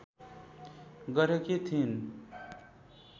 गरेकी थिइन्